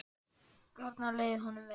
Þarna leið honum vel.